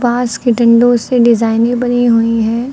बास के डंडों से डिजाइने बनी हुई है।